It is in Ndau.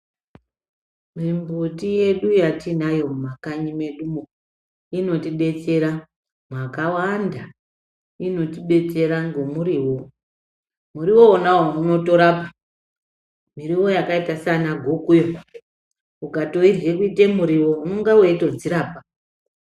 Mimbuti yedu yatiinayo mumakanyi medumo, inotidetsera mwakawanda. Inotibetsera ngemuriwo. Muriwo wonawo unotorapa. Miriwo yakaita sana gukuyo ukatoirye kuite muriwo unenge weitodzirapa.